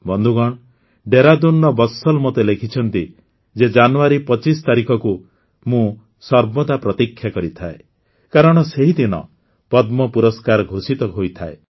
ବନ୍ଧୁଗଣ ଦେହରାଦୁନର ବତ୍ସଲ୍ ମୋତେ ଲେଖିଛନ୍ତି ଯେ ଜାନୁଆରୀ ୨୫ ତାରିଖକୁ ମୁଁ ସର୍ବଦା ପ୍ରତୀକ୍ଷା କରିଥାଏ କାରଣ ସେହି ଦିନ ପଦ୍ମ ପୁରସ୍କାର ଘୋଷିତ ହୋଇଥାଏ